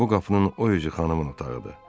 Bu qapının o üzü xanımın otağıdır.